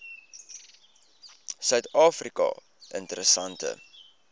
suid afrika interessante